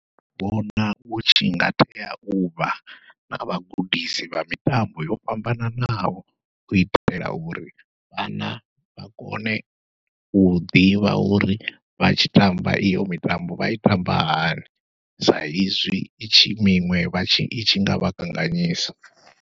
Ndi vhona hutshi nga tea uvha na vhagudisi vha mitambo yo fhambananaho, u itela uri vhana vha kone u ḓivha uri vha tshi tamba iyo mitambo vha i tamba hani, sa izwi itshi miṅwe vhatshi itshi ngavha kanganyisa.